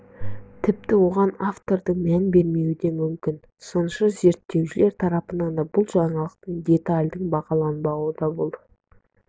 тіпті оған автордың мән бермеуі де мүмкін сыншы зерттеушілер тарапынан да бұл жаңалықтың детальдің бағаланбауында бұл